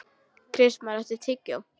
Kristmar, áttu tyggjó?